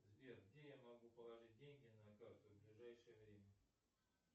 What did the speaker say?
сбер где я могу положить деньги на карту в ближайшее время